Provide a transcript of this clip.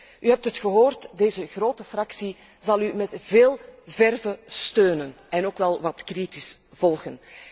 U hebt het gehoord, deze grote fractie zal u met veel verve steunen en ook wel wat kritisch volgen.